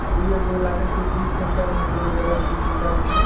आ उ लगे छै बीच सेण्टर कोनो जगह के बीच सेण्टर मे छै ।